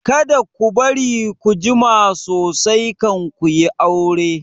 Kada ku bari ku jima sosai kan ku yi aure!